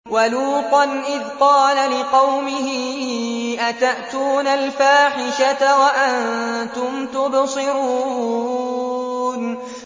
وَلُوطًا إِذْ قَالَ لِقَوْمِهِ أَتَأْتُونَ الْفَاحِشَةَ وَأَنتُمْ تُبْصِرُونَ